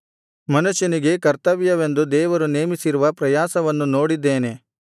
ಮನುಷ್ಯನಿಗೆ ಕರ್ತವ್ಯವೆಂದು ದೇವರು ನೇಮಿಸಿರುವ ಪ್ರಯಾಸವನ್ನು ನೋಡಿದ್ದೇನೆ